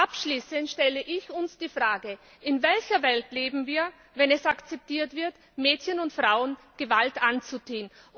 Abschließend stelle ich uns die Frage In welcher Welt leben wir, wenn es akzeptiert wird, Mädchen und Frauen Gewalt anzutun?